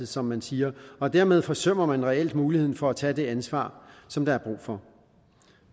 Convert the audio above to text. som man siger og dermed forsømmer man reelt muligheden for at tage det ansvar som der er brug for